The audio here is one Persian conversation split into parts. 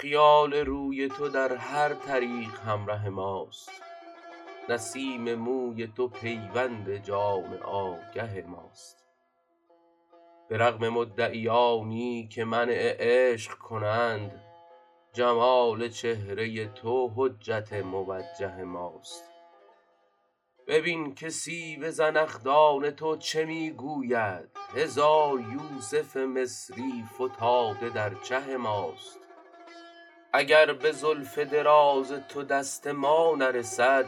خیال روی تو در هر طریق همره ماست نسیم موی تو پیوند جان آگه ماست به رغم مدعیانی که منع عشق کنند جمال چهره تو حجت موجه ماست ببین که سیب زنخدان تو چه می گوید هزار یوسف مصری فتاده در چه ماست اگر به زلف دراز تو دست ما نرسد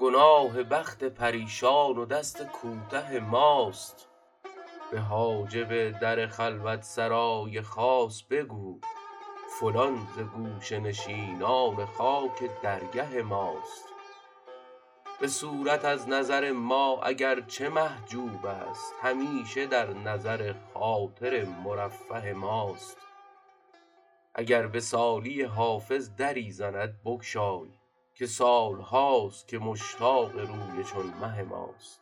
گناه بخت پریشان و دست کوته ماست به حاجب در خلوت سرای خاص بگو فلان ز گوشه نشینان خاک درگه ماست به صورت از نظر ما اگر چه محجوب است همیشه در نظر خاطر مرفه ماست اگر به سالی حافظ دری زند بگشای که سال هاست که مشتاق روی چون مه ماست